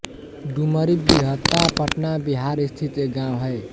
डुमरी बीहता पटना बिहार स्थित एक गाँव है